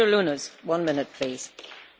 Dank u wel, mevrouw de Voorzitter.